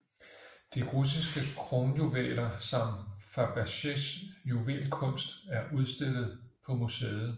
De russiske kronjuveler samt Fabergés juvelkunst er udstillet på museet